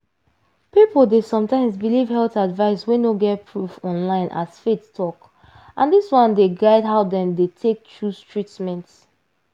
people dey sometimes believe health advice wey no get proof online as faith talk and dis one dey guide how dem dey take choose treatment.